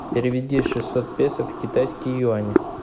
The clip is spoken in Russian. переведи шестьсот песо в китайские юани